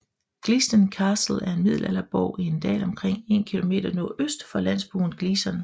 Gleaston Castle er en middelalderborg i en dal omkring 1 km nordøst for landsbyen Gleaston